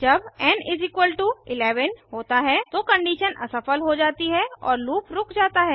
जब एन 11 होता है तो कंडीशन असफल हो जाती है और लूप रुक जाता है